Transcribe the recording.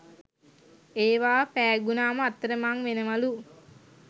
ඒවා පෑගුනාම අතර මං වෙනවලු